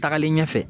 Tagalen ɲɛfɛ